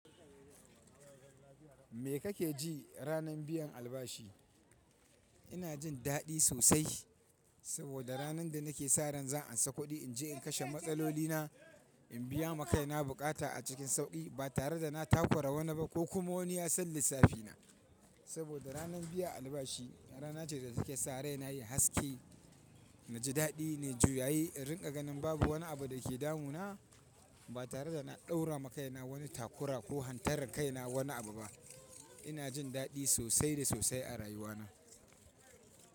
Me kake ji ranan biyan albashi? Ina jin daɗi sosai saboda ranan da nake sa ran za in sa kuɗi in je in kashe matsalolina, in biya makai na bukata a cikin sauƙi ba tare da na takura wani ba ko kuma wani ya san lissafina. Saboda ranar biyan albashi rana ce da take sa raina yayi haske. Naji daɗi nai juyayi in rinƙa ganin babu wani abu da ke damu na ba tare da na ɗaura ma kaina wani takura ko hantarar kai na wani abu ba. Ina jin daɗi sosai da sosai a rayuwa na.